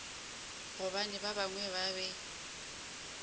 gobane ba bangwe ba be